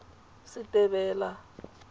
setebela